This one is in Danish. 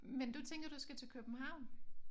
Men du tænker du skal til København?